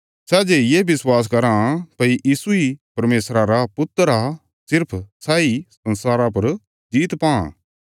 सै जे ये विश्वास कराँ भई यीशु इ परमेशरा रा पुत्र आ सिर्फ सैई संसारा पर जीत पां